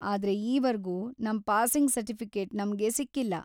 ಆದ್ರೆ ಈವರ್ಗೂ ನಮ್ ಪಾಸಿಂಗ್‌ ಸರ್ಟಿಫಿಕೇಟು ನಮ್ಗೆ ಸಿಕ್ಕಿಲ್ಲ.